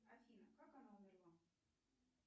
афина как она умерла